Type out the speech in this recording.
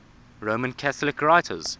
roman catholic writers